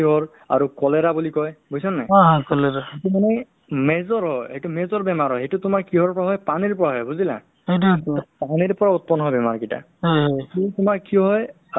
to medical ত কৰি আছা তুমি হে অ' ঔষধতো বা এনেকে ঔষধ তুমি medical ত আছেনে নাই কোনোবাই সোধে বা তোমাৰ এনেকা birth certificate মোৰ ওলোৱা নাই বা death certificate ওলোৱা নাই তুমি কিবা জানা নেকি procedure আছে নেকি কিবা ওলাবৰ কাৰণে সোনকালে